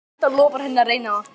Edda lofar henni að reyna það.